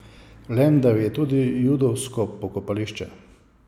V Lendavi je tudi judovsko pokopališče.